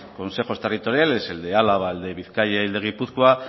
consejos territoriales el de álava el de bizkaia y el de gipuzkoa